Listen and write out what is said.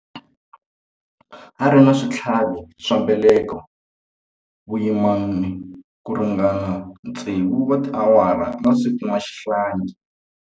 A ri na switlhavi swa mbeleko vuyimani ku ringana tsevu wa tiawara a nga si kuma xihlangi.